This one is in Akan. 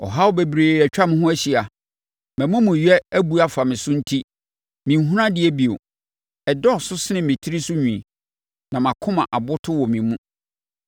Ɔhaw bebree atwa me ho ahyia; mʼamumuyɛ abu afa me so enti menhunu adeɛ bio. Ɛdɔɔso sene me tiri so nwi, na mʼakoma aboto wɔ me mu.